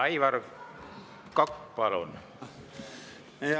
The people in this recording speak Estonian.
Aivar Kokk, palun!